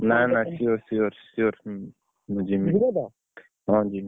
ନା ନା sure sure sure ହଁ ଯିବି।